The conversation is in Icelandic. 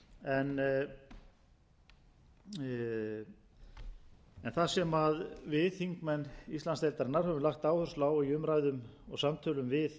en það sem við þingmenn íslandsdeildarinnar höfum lagt áherslu á í umræðum og samtölum við